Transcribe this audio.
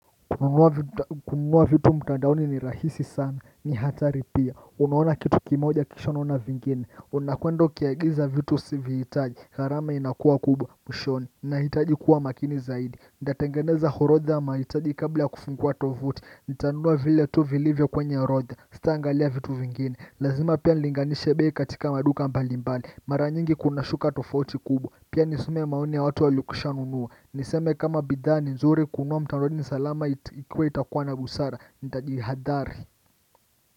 Kununua vitu mtandaoni ni rahisi sana ni hatari pia unaona kitu kimoja kisha unaona vingine unakwenda ukiagiza vitu sivihitaji gharama inakuwa kubwa mwishoni nahitaji kuwa makini zaidi nitatengeneza orodha ya mahitaji kabla ya kufungua tovuti nitanunua vile tu vilivyo kwenye roodha sitaangalia vitu vingine lazima pia nilinganishe bei katika maduka mbalimbali mara nyingi kunashuka tofauti kubwa pia nisome maoni ya watu walikwisha nunua Niseme kama bidhaa ni nzuri kununua mtandaoni salama ikuwe itakuwa na busara nitajihadhari.